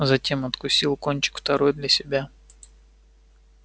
затем откусил кончик второй для себя